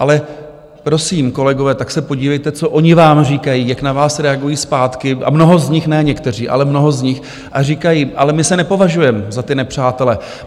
Ale prosím, kolegové, tak se podívejte, co oni vám říkají, jak na vás reagují zpátky, a mnoho z nich, ne někteří, ale mnoho z nich, a říkají: Ale my se nepovažujeme za ty nepřátele.